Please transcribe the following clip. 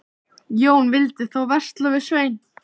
Jón vildi þá versla við Svein.